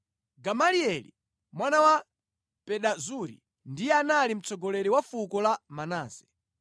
Gamalieli mwana wa Pedazuri ndiye anali mtsogoleri wa fuko la Manase.